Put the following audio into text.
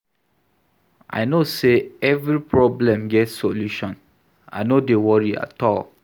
I know sey every problem get solution, I no dey worry at all.